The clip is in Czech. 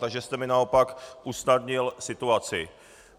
Takže jste mi naopak usnadnil situaci.